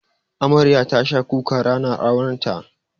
Amaryar tasha kuka ranar aurenta.